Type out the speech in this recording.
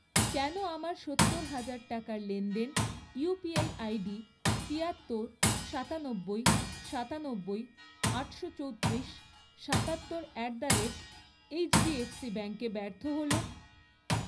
কেন আমার সত্তর হাজার টাকার লেনদেন ইউপিআই আইডি তিয়াত্তর, সাতানব্বই, সাতানব্বই, আটশো চৌত্রিশ, সাতাত্তর অ্যাট দ্য রেট এইচডিএফসি ব্যাঙ্কে ব্যর্থ হল?